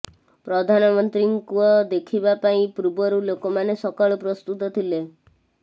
ପ୍ରଧାନମନ୍ତ୍ରୀଙ୍କ ଦେଖିବା ପାଇଁ ପୂର୍ବରୁ ଲୋକମାନେ ସକାଳୁ ପ୍ରସ୍ତୁତ ଥିଲେ